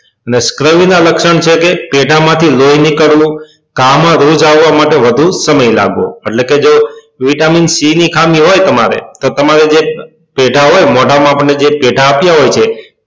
અને ના લક્ષણ છે કે પેઢા માંથી લોહી નીકળવું કામ માં રૂહ જાળવા માટે વધુ સમય લાગવો એટલે કે જો vitamin c ની ખામી હોય તમારે તો તમારે જે પેઢા હોય મોઢા માં આપણે જે પેઢા આપ્યા હોય છે